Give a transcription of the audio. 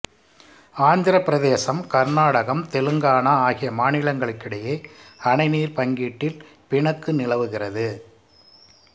ஆந்திரப் பிரதேசம் கர்நாடகம் தெலுங்கானா ஆகிய மாநிலங்களிடையே அணை நீர் பங்கீட்டில் பிணக்கு நிலவுகிறது